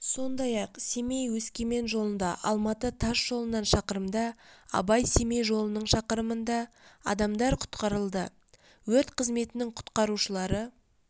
сондай-ақ семей-өскемен жолында алматы тас жолынан шақырымда абай-семей жолының шақырымында адамдар құтқарылды өрт қызметінің құтқарушылары